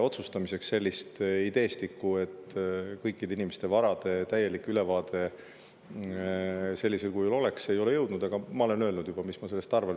Otsustamiseks selline ideestik, et kõikide inimeste vara täielik ülevaade sellisel kujul oleks, ei ole jõudnud, aga ma olen juba öelnud, mis ma sellest arvan.